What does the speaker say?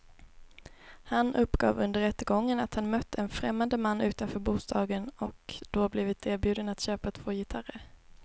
Han uppgav under rättegången att han mött en främmande man utanför bostaden och då blivit erbjuden att köpa två gitarrer.